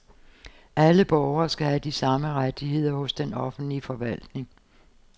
Alle borgere skal have de samme rettigheder hos den offentlige forvaltning.